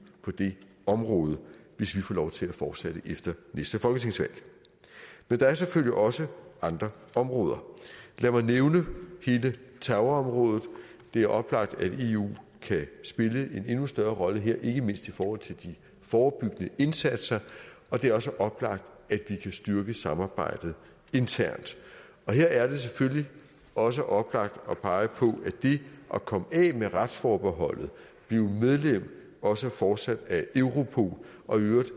på det område hvis vi får lov til at fortsætte efter næste folketingsvalg men der er selvfølgelig også andre områder lad mig nævne hele terrorområdet det er oplagt at eu kan spille en endnu større rolle her ikke mindst i forhold til de forebyggende indsatser og det er også oplagt at vi kan styrke samarbejdet internt her er det selvfølgelig også oplagt at pege på at det at komme af med retsforbeholdet blive medlem også fortsat af europol og i øvrigt